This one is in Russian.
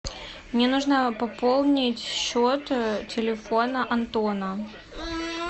мне нужно пополнить счет телефона антона